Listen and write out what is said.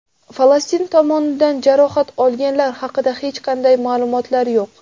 Falastin tomonidan jarohat olganlar haqida hech qanday ma’lumotlar yo‘q.